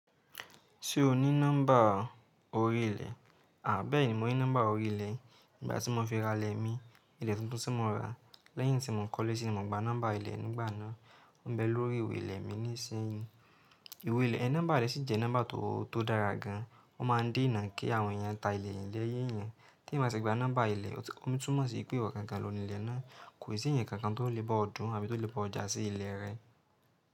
Ṣé o ní nọ́mbà orí ilẹ̀? Bẹ́ẹ̀ni mo ní nọ́mbà orí ilẹ̀. Ìgbà tí mo fi ra ilẹ̀ mi, ilẹ̀ tuntun tí mo rà lẹ́yìn tí mò ń kọ́lé síbí, mo gba nọ́mbà ilẹ̀ nígbà náà. Ó ń bẹ lórí ìwé ilẹ̀ mi nísìnyí. Ìwé ilẹ̀ ẹ, nọ́mbà rẹ̀ sì jẹ́ nọ́mbà tó dára gan. Ó máa ń dinà kí àwọn èèyàn ta ilẹ̀ yí lẹ́yi eyan. Tí eyan bá ti gba nọ́mbà ilẹ̀, ó tún mọ̀ sí ìpè iwọ̀ gangan loni ilẹ̀ náà. Kò sí ẹ̀yàn kankan tó lè bá ọ dùn àbí tó lè bá ọ jà sí ilẹ̀ rẹ.